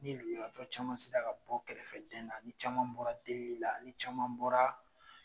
Ni lujuratɔ caman se ra ka bɔ kɛrɛfɛ den na, ni caman bɔra delili la, ni caman bɔra